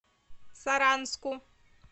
саранску